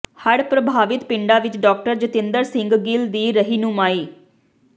ਹੜ੍ਹ ਪ੍ਰਭਾਵਿਤ ਪਿੰਡਾਂ ਵਿੱਚ ਡਾਕਟਰ ਜਤਿੰਦਰ ਸਿੰਘ ਗਿੱਲ ਦੀ ਰਹਿਨੁਮਾਈ